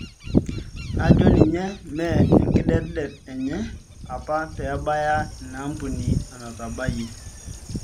Najo ninye mee enkidetdet enye apa pebaya inambuni anatabaiyie